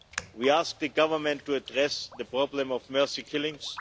We ask the Government to address the problem of mercy killings.